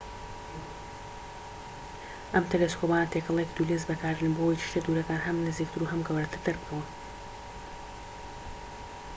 ئەم تێلێسکۆپانە تێکەڵەیەکی دوو لێنز بەکاردێنن بۆ ئەوەی شتە دوورەکان هەم نزیکتر و هەم گەورەتر دەربکەون‎